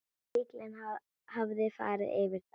Bíllinn hafði farið yfir það.